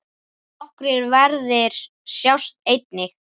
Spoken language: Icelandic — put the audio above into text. Nokkrir verðir sjást einnig.